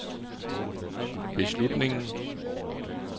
beslutningen